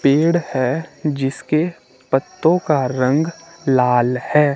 पेड़ है जिसके पत्तों का रंग लाल है।